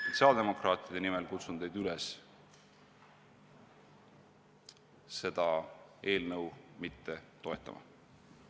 Sotsiaaldemokraatide nimel kutsun teid üles seda eelnõu mitte toetama.